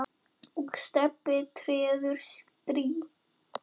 og Stebbi treður strý.